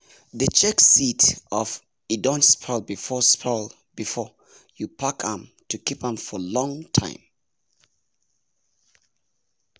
dey check seed of e don spoil before spoil before you pack m to keep m for long time